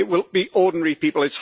It will be ordinary people.